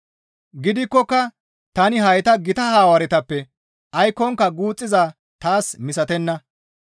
Gidikkoka tani hayta gita Hawaaretappe aykkonka guuxxizaa taas misatenna.